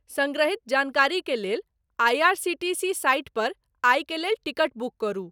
संग्रहीत जानकारी के लेल I. R. C. T. C site पर आइ के लेल टिकट बुक करू